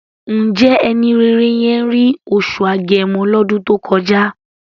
Ǹjẹ́ ẹni rere yẹn rí oṣù Agẹmọ lọ́dún tó kọjá?